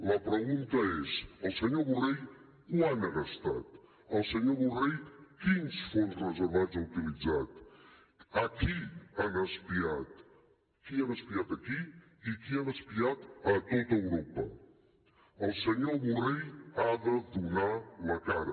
la pregunta és el senyor borrell quant ha gastat el senyor borrell quins fons reservats ha utilitzat a qui han espiat qui ha espiat a qui i a qui han espiat a tot europa el senyor borrell ha de donar la cara